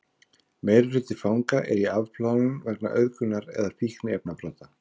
meirihluti fanga er í afplánun vegna auðgunar eða fíkniefnabrota